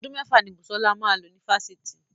Ọdún mẹ́fà ni Busola máa lò ní Fáṣítì.